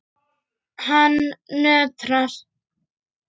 Hann nötrar.